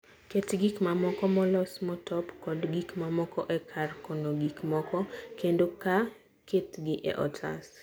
Ket gik mamoko molos motop kod gik mamoko e kar kano gik moko kendo ketgi e otas.